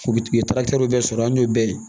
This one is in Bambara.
U u ye bɛɛ sɔrɔ hali n'o bɛɛ ye